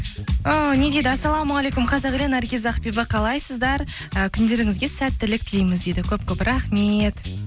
ііі не дейді ассалаумағалейкум қазақ елі наргиз ақбибі қалайсыздар ы күндеріңізге сәттілік тілейміз дейді көп көп рахмет